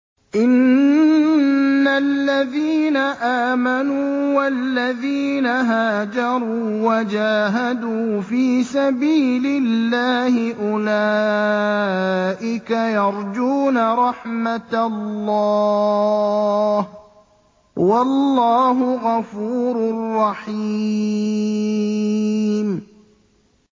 إِنَّ الَّذِينَ آمَنُوا وَالَّذِينَ هَاجَرُوا وَجَاهَدُوا فِي سَبِيلِ اللَّهِ أُولَٰئِكَ يَرْجُونَ رَحْمَتَ اللَّهِ ۚ وَاللَّهُ غَفُورٌ رَّحِيمٌ